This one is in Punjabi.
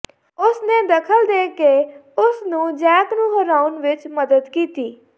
ਉਸ ਨੇ ਦਖ਼ਲ ਦੇ ਕੇ ਉਸ ਨੂੰ ਜੈਕ ਨੂੰ ਹਰਾਉਣ ਵਿੱਚ ਮਦਦ ਕੀਤੀ